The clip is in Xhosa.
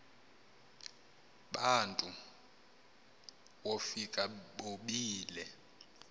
bantu wofika bobile